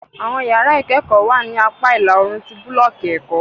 Awọn yara ikẹkọ wa ni apa ila-oorun ti bulọọki ẹkọ